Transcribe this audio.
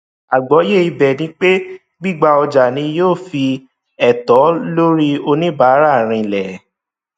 àgbọyé ibẹ ni pé gbígba ọjà ni yóò fi ẹtọ lórí oníbàárà rinlẹ